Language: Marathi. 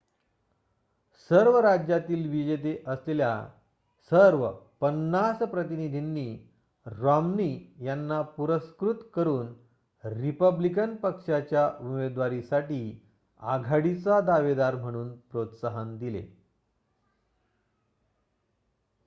सर्व राज्यातील विजेते असलेल्या सर्व पन्नास प्रतिनिधींनी रॉम्नी यांना पुरस्कृत करून रिपब्लिकन पक्षाच्या उमेदवारीसाठी आघाडीचा दावेदार म्हणून प्रोत्साहन दिले